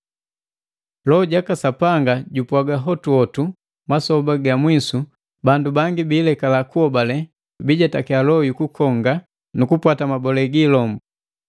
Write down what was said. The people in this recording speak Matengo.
Loho jaka Sapanga jupwaga hotu hotu masoba ga mwisu bandu bangi bilekala kuhobale; bijetakiya loho yu kukonga nu kupwata mabolesu gi ilombu.